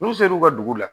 N'u ser'u ka dugu la